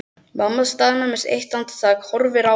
Mamma staðnæmist andartak, horfir á þær.